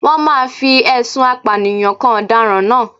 Wọ́n máa fi ẹ̀sùn apànìyàn kan ọ̀daràn náà